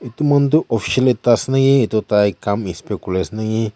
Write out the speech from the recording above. etu manu toh official ekta ase naki etu tai kam inspect kuri ase naki.